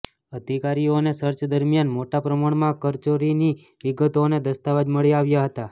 અધિકારીઓને સર્ચ દરમિયાન મોટા પ્રમાણમાં કરચોરીની વિગતો અને દસ્તાવેજ મળી આવ્યા હતા